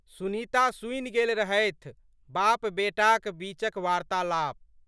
सुनीता सुनि गेल रहथि बापबेटाक बीचक वार्त्तालाप।